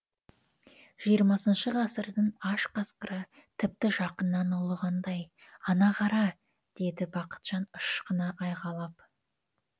жиырмасыншы ғасырдың аш қасқыры тіпті жақыннан ұлығандай ана қара деді бақытжан ышқына айғайлап